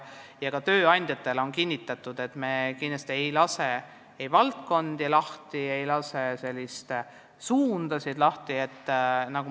Ka tööandjatele on kinnitatud, et me kindlasti ei lase ei valdkondi ega suundi vabaks.